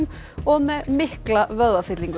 og með mikla